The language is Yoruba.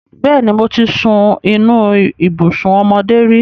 Bẹ́ẹ̀ni, mo ti sun inú ibùsùn ọmọdé rí.